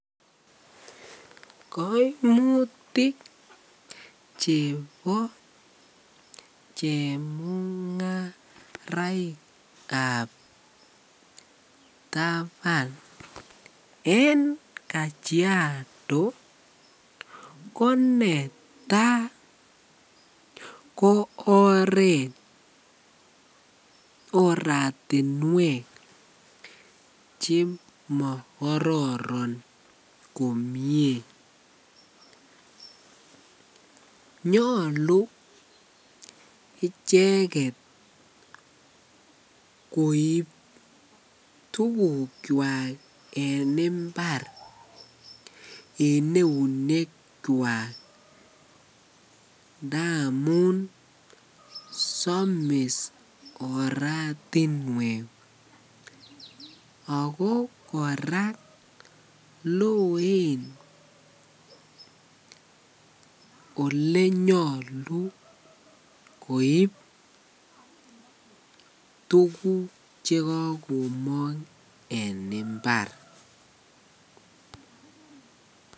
Koimutik cheboo chemungaraikab taban en Kajiado ko netaa ko oreet oratinwek chemokororon komnye, nyolu icheket koib tukukwak en imbar en eunekwak ndamun somis oratinwek ak ko kora loen olenyolu koib tukuk chekokomong en imbar.